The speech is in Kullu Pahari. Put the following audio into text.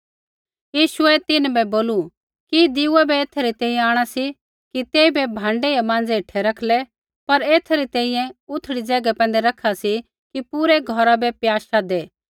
यीशुऐ तिन्हां बै बोलू कि दिऊये बै एथै री तैंईंयैं आंणा सी कि तेइबै भाँडै या माँज़ै हेठै रखलै पर एथा री तैंईंयैं उथड़ी ज़ैगा पैंधै रैखा सी कि पूरै घौरा बै प्याशा दै